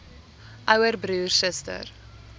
ouer broer suster